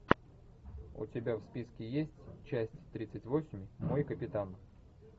у тебя в списке есть часть тридцать восемь мой капитан